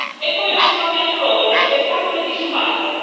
E poi ho risparmiato loro lo spettacolo disumano.